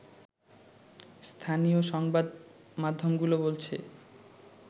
স্থানীয় সংবাদ মাধ্যমগুলো বলছে